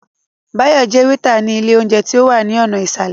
Báyọ̀ jẹ́ wétà ní ilé óúnjẹ tí ó wà ní ọ̀nà ìsàlẹ̀